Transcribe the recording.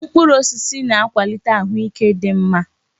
Mkpụrụ osisi na-akwalite ahụike dị mma.